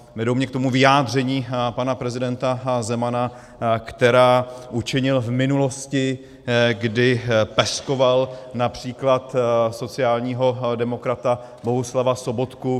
Vedou mě k tomu vyjádření pana prezidenta Zemana, která učinil v minulosti, kdy peskoval například sociálního demokrata Bohuslava Sobotku.